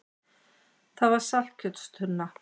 Það var saltkjötstunna.